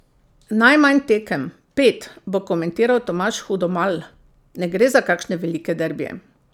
Najmanj tekem, pet, bo komentiral Tomaž Hudomalj: "Ne gre za kakšne velike derbije.